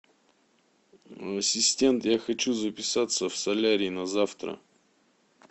ассистент я хочу записаться в солярий на завтра